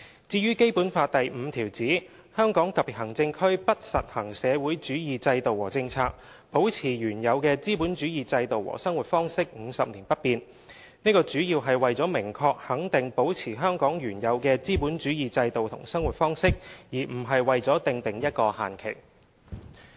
至於《基本法》第五條指"香港特別行政區不實行社會主義制度和政策，保持原有的資本主義制度和生活方式，五十年不變"，這主要是為了明確肯定保持香港原有的資本主義制度和生活方式，而不是為了訂定一個限期。